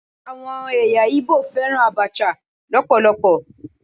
Àwọn ẹ̀yà Igbo fẹ́ràn Abacha lọpọlọpọ.